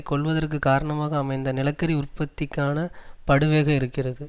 கொல்வதற்கு காரணமாக அமைந்த நிலக்கரி உற்பத்திக்கான படுவேக இருக்கிறது